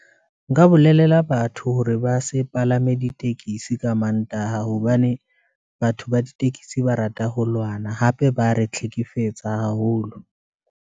Nka bolelela batho hore ba se palame ditekesi ka mantaha, hobane batho ba ditekesi ba rata ho lwana, hape ba re tlhekefetsa haholo.